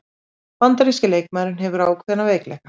Bandaríski leikmaðurinn hefur ákveðna veikleika